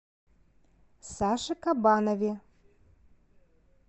саше кабанове